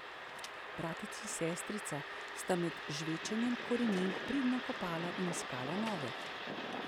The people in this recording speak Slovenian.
Bratec in sestrica sta med žvečenjem korenin pridno kopala in iskala nove.